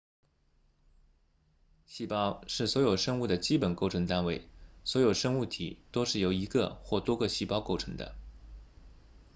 细胞是所有生物的基本构成单位所有生物体都是由一个或多个细胞构成的